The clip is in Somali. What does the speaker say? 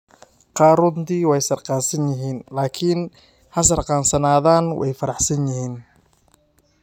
"Qaar runtii way sakhraansan yihiin, laakiin ha sakhraansan yihiin, way faraxsan yihiin.